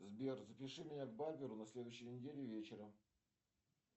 сбер запиши меня к барберу на следующей неделе вечером